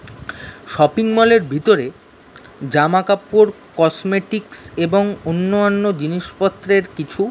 shopping mall এর ভিতরে জামা কাপড় কসমেটিক্স এবং অন্য অন্য জিনিস পত্রের কিছু--